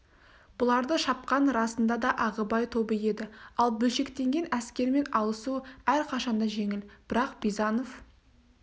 бұларды шапқан расында да ағыбай тобы еді ал бөлшектенген әскермен алысу әрқашан да жеңіл бірақ бизанов